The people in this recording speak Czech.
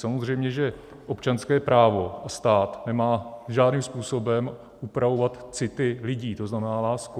Samozřejmě, že občanské právo a stát nemá žádným způsobem upravovat city lidí, to znamená lásku.